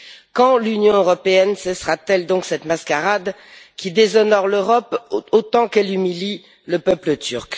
Quand l'Union européenne cessera t elle donc cette mascarade qui déshonore l'Europe autant qu'elle humilie le peuple turc?